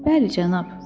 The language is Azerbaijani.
Bəli, cənab.